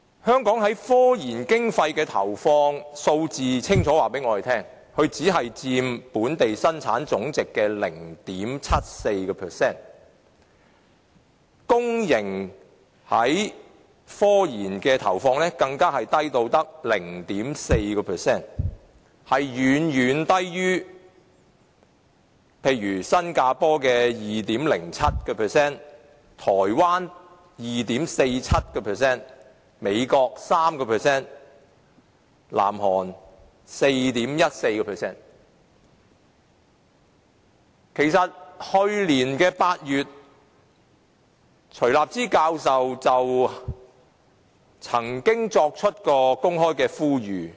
香港的科研經費投放數字清楚告訴我們，它只佔本地生產總值的 0.74%， 公營企業對科研的投放更低至 0.4%， 遠遠低於新加坡的 2.07%、台灣的 2.47%、美國的 3%， 以及南韓的 4.14%。